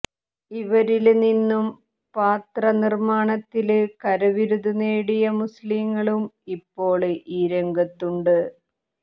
ഇവരില് നിന്നും പാത്ര നിര്മാണത്തില് കരവിരുത് നേടിയ മുസ്ലീങ്ങളും ഇപ്പോള് ഈ രംഗത്തുണ്ട്